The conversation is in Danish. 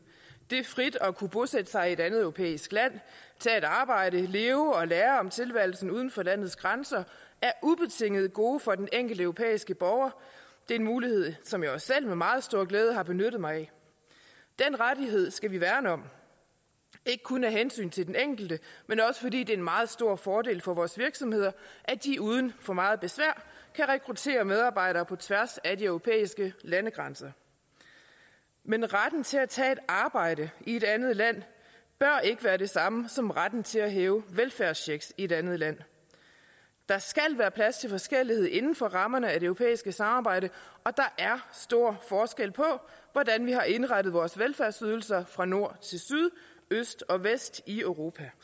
det frit at kunne bosætte sig i et andet europæisk land tage et arbejde leve og lære om tilværelsen uden for landets grænser er ubetinget et gode for den enkelte europæiske borger det er en mulighed som jeg også selv med meget stor glæde har benyttet mig af den rettighed skal vi værne om ikke kun af hensyn til den enkelte men også fordi det er en meget stor fordel for vores virksomheder at de uden for meget besvær kan rekruttere medarbejdere på tværs af de europæiske landegrænser men retten til at tage et arbejde i et andet land bør ikke være det samme som retten til at hæve en velfærdscheck i et andet land der skal være plads til forskellighed inden for rammerne af det europæiske samarbejde og der er stor forskel på hvordan vi har indrettet vores velfærdsydelser fra nord til syd øst og vest i europa